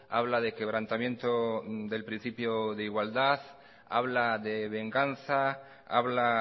habla de quebrantamiento del principio de igualdad habla de venganza habla